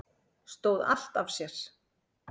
Stóð allt af sér